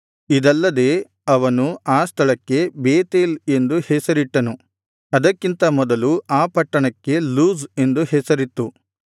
ಇದಲ್ಲದೆ ಅವನು ಆ ಸ್ಥಳಕ್ಕೆ ಬೇತೇಲ್ ಎಂದು ಹೆಸರಿಟ್ಟನು ಅದಕ್ಕಿಂತ ಮೊದಲು ಆ ಪಟ್ಟಣಕ್ಕೆ ಲೂಜ್ ಎಂದು ಹೆಸರಿತ್ತು